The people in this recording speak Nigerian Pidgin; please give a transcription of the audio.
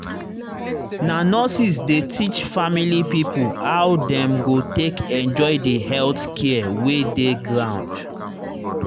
na nurses dey teach family pipo how dem go take enjoy the health care wey dey ground.